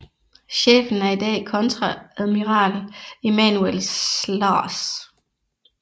Chefen er i dag kontreadmiral Emmanuel Slaars